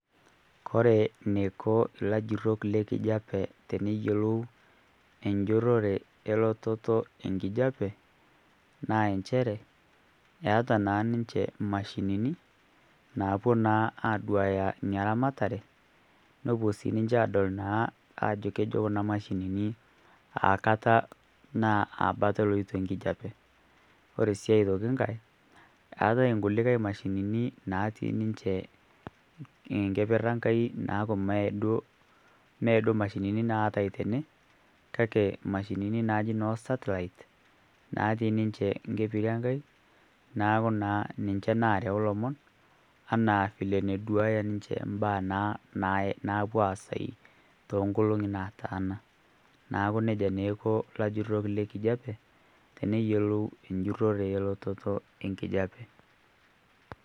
kore neiko lajurok le kijape teneyolou enjurore elototo enkijape naa enshere eata naa ninshe mashinini naapuo naa aduaya inia ramataree nopuo sii ninshe adol naa ajo kejo kunaa mashinini aa kataa naa aa bata eloito nkijepe kore sii otoki nghai eatai nkulikai mashinini natii ninshe enkeper enkai naaku mee duo mashinini naatai tenee kakee mashinini najii noo satellite natii ninshe nkeperi enkai naaku naa ninshe narau lomon anaa vile naduaya ninshe mbaa napuo aasai tonkologii nataana naaku neja naa eiko lajurok le kijapee teneyolou njurore ee lototoo ee nkijepe